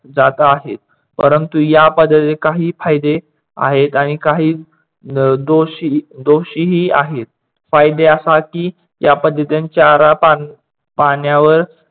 जात आहेत. परंतु या पद्धतीने काही फायदे आहेत आणि काही दोषी दोषी ही आहेत. फायद्यासाठी या पद्धतीने चारा पाण्यावर जात आहे.